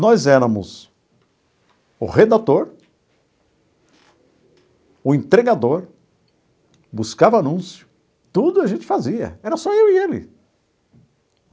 Nós éramos o redator, o entregador, buscava anúncio, tudo a gente fazia, era só eu e ele.